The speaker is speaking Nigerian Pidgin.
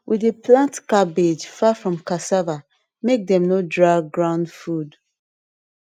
we dey plant cabbage far from cassava make dem no drag ground food